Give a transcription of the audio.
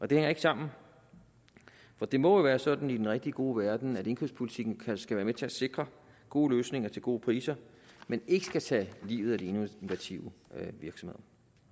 det hænger ikke sammen for det må jo være sådan i den rigtig gode verden at indkøbspolitikken skal være med til at sikre gode løsninger til gode priser men ikke skal tage livet af de innovative virksomheder